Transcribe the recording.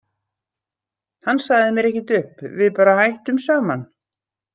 Hann sagði mér ekkert upp, við bara hættum saman.